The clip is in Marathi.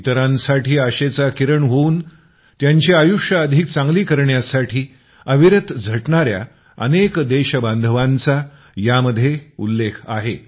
इतरांसाठी आशेचा किरण होऊन त्यांची आयुष्यं अधिक चांगली करण्यासाठी अविरत झटणाऱ्या अनेक देशबांधवांचा यांमध्ये उल्लेख आहे